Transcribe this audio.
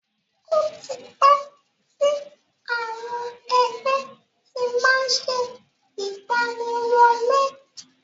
Ó ti pẹ́ tí àwọn ẹgbẹ́ ti má ń ṣe ìgbaniwọlé.